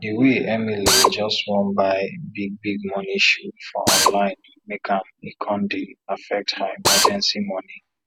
di way way emily just wan buy big big money shoe for online make am e con dey affect her emergency money